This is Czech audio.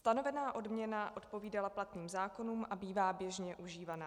Stanovená odměna odpovídala platným zákonům a bývá běžně užívaná.